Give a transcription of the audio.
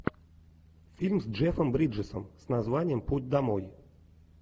фильм с джеффом бриджесом с названием путь домой